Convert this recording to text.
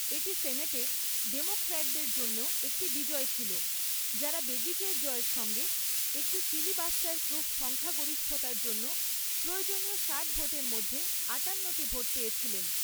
এটি সেনেটে ডেমোক্র্যাটদের জন্যও একটি বিজয় ছিল, যারা বেগিচের জয়ের সঙ্গে, একটি ফিলিবাস্টার প্রুফ সংখ্যাগরিষ্ঠতার জন্য প্রয়োজনীয় ষাট ভোটের মধ্যে আঠান্নটি ভোট পেয়েছিলেন।